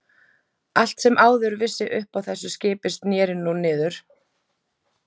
Allt sem áður vissi upp á þessu skipi snéri nú niður.